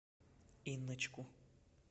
инночку